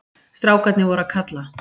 Strákarnir voru að kalla.